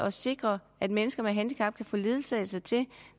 at sikre at mennesker med handicap kan få ledsagelse